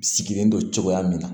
Sigilen don cogoya min na